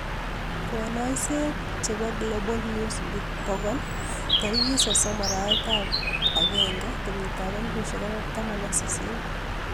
konoisiet chebo Global Newsbeat 100 30/01/2018